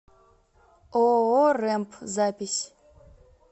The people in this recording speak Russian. ооо рэмп запись